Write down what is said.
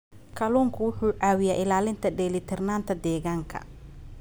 Kalluunku wuxuu caawiyaa ilaalinta dheelitirnaanta deegaanka.